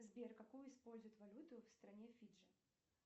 сбер какую используют валюту в стране фиджи